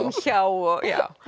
hjá og